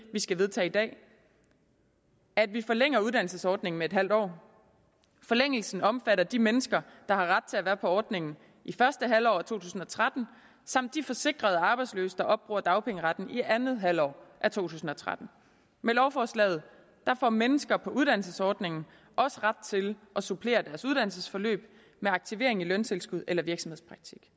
vi skal vedtage i dag at vi forlænger uddannelsesordningen med en halv år forlængelsen omfatter de mennesker der har ret til at være på ordningen i første halvår af to tusind og tretten samt de forsikrede arbejdsløse der opbruger dagpengeretten i andet halvår af to tusind og tretten med lovforslaget får mennesker på uddannelsesordningen også ret til at supplere deres uddannelsesforløb med aktivering i løntilskud eller virksomhedspraktik